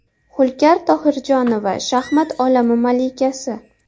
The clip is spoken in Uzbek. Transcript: Hulkar Tohirjonova – shaxmat olami malikasi.